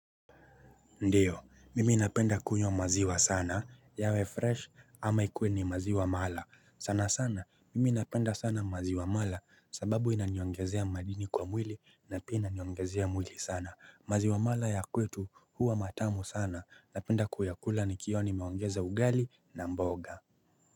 Ndio mimi napenda kunywa maziwa sana yawe fresh ama ikuwe ni maziwa mala sana sana mimi napenda sana maziwa mala sababu inaniongezea madini kwa mwili na pia inaniongezea mwili sana. Maziwa mala ya kwetu huwa matamu sana. Napenda kuyakula nikiwa nimeongeza ugali na mboga.